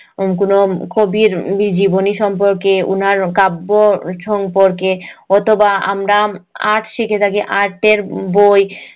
কোনো কবির জীবনী সম্পর্কে উনার কাব্য সম্পর্কে অথবা আমরা art শিখে থাকি art এর উম বই